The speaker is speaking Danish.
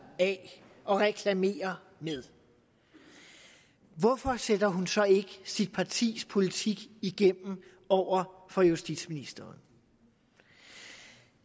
af og reklamere med hvorfor sætter hun så ikke sit partis politik igennem over for justitsministeren